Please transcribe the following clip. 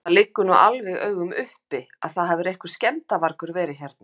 Það liggur nú alveg í augum uppi að það hefur einhver skemmdarvargur verið hérna.